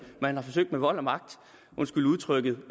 man har forsøgt med vold og magt undskyld udtrykket